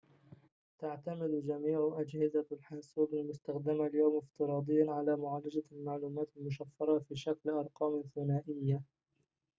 تعتمد جميعُ أجهزة الحاسوبِ المستخدمة اليوم افتراضياً على معالجة المعلومات المشفرة في شكل أرقامٍ ثُنائية